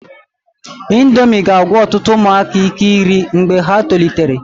Indomi ga-agwụ ọtụtụ ụmụaka ike iri mgbe ha tolitere.